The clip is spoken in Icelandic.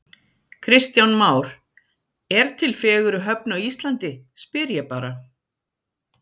Kristján Már: Er til fegurri höfn á Íslandi, spyr ég bara?